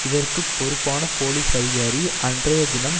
இதற்கு பொறுப்பான போலிஸ் அதிகாரி அன்றைய தினம்